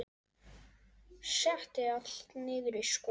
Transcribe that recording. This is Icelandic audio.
Setti allt niður í skúffu.